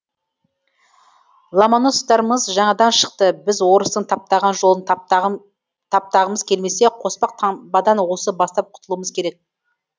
ломоносовтарымыз жаңадан шықты біз орыстың таптаған жолын таптағымыз келмесе қоспақ таңбадан осы бастап құтылуымыз керек